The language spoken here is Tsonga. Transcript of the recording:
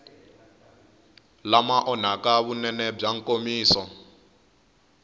lama onhaka vunene bya nkomiso